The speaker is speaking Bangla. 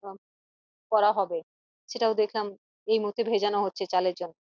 করা হবে সেটাও দেখলাম এই মুহূর্তে ভেজানো হচ্ছে চালের